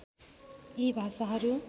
यी भाषाहरू